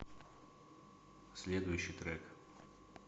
следующий трек